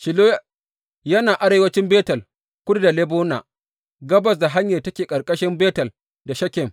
Shilo yana arewancin Betel, kudu da Lebona, gabas da hanyar da take tsakanin Betel da Shekem.